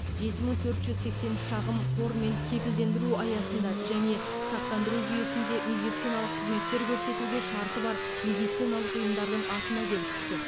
жеті мың төрт жүз сексен үш шағым қормен кепілдендіру аясында және сақтандыру жүйесінде медициналық қызметтер көрсетуге шарты бар медициналық ұйымдардың атына келіп түсті